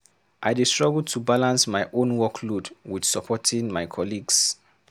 I dey struggle to balance my own workload with supporting my colleagues.